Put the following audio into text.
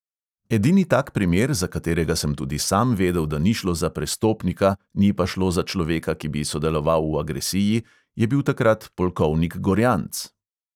Edini tak primer, za katerega sem tudi sam vedel, da ni šlo za prestopnika, ni pa šlo za človeka, ki bi sodeloval v agresiji, je bil takrat polkovnik gorjanc.